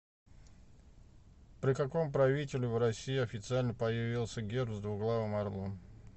при каком правителе в россии официально появился герб с двуглавым орлом